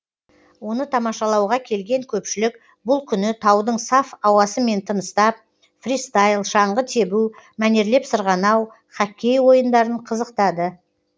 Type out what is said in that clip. оны тамашалауға келген көпшілік бұл күні таудың саф ауасымен тыныстап фристайл шаңғы тебу мәнерлеп сырғанау хоккей ойындарын қызықтады